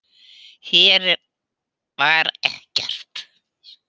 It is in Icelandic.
Hér var ekkert.